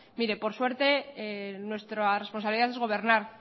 mire por suerte nuestra responsabilidad es gobernar